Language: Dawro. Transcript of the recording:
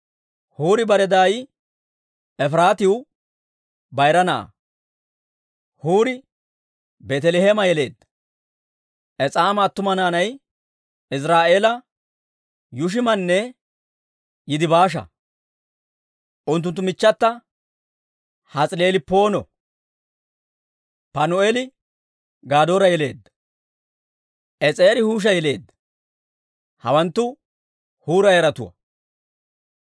Huuri bare daay Efiraatiw bayra na'aa; Huuri Beeteleheeme yeleedda. Es'aama attuma naanay Iziraa'eela, Yuushimanne Yidibaasha; unttunttu michchatta Has'ilelppoono. Panu'eeli Gadoora yeleedda. Es'eeri Huusha yeleedda. Hawanttu Huura yaratuwaa.